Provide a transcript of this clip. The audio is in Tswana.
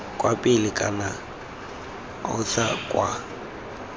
kwa pele kana aotha kwa